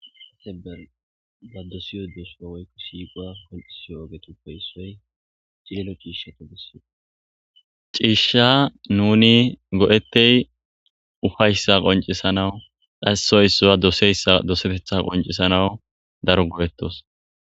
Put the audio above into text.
sate ber ba dosiyo doshio woykko shiiqoa kolisiyo ogetuppe issoy cilelo ciishsha to gesse ciishsha nuni go7ettey ufayssa qoncisanawu dhassoy issua doseyssa dosetetha qoncisanawu daro go7ettos